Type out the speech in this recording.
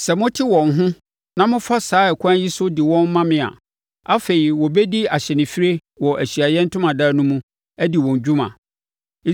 “Sɛ mote wɔn ho na mofa saa ɛkwan yi so de wɔn ma me a, afei, wɔbɛdi ahyɛnfirie wɔ Ahyiaeɛ Ntomadan no mu, adi wɔn dwuma.